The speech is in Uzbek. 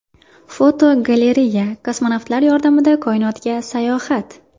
Fotogalereya: Kosmonavtlar yordamida koinotga sayohat.